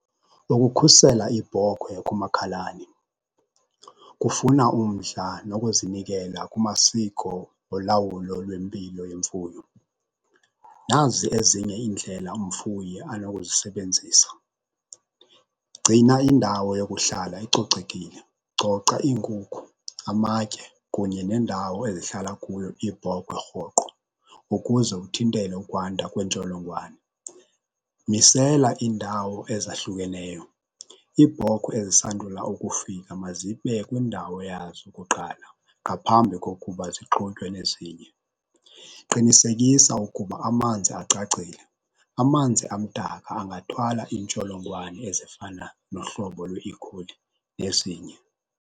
Ukukhusela ibhokhwe kumakhalane kufuna umdla nokuzinikela kumasiko olawulo lwempilo yemfuyo. Nazi ezinye iindlela umfuyi anokuzisebenzisa, gcina indawo yokuhlala icocekile. Coca iinkukhu, amatye kunye nendawo ezihlala kuyo iibhokwe rhoqo ukuze uthintele ukwanda kweentsholongwane. Misela iindawo ezahlukeneyo. Iibhokhwe ezisandula ukufika mazibe kwindawo yazo kuqala ngaphambi kokuba zixutywe nezinye. Qinisekisa ukuba amanzi acacile. Amanzi amdaka angathwala iintsholongwane ezifana nohlobo lweikholi nezinye.